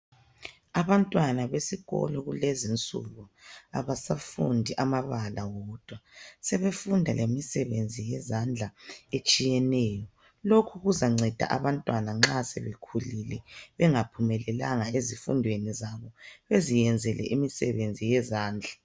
Abantwana besikolo kulezi insuku abasafundi amabala wodwa sebefunda lemisebenzi yenzandla etshiyeneyo lokhu kuzanceda abantwana nxa sebekhulile bengaphumelelanga ezifundweni zabo beziyenzele imisebenzi yezandla.